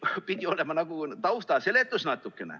See kõik pidi olema natukene nagu tausta seletus.